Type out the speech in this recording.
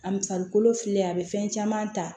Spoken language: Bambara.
A farikolo fili a be fɛn caman ta